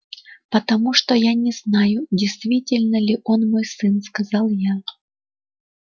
потому что я не знаю действительно ли он мой сын сказал я